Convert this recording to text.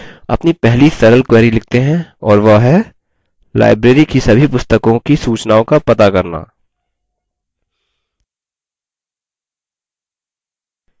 अपनी पहली सरल query लिखते हैं और वह है: library की सभी पुस्तकों की सूचनाओं का पता करना